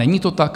Není to tak?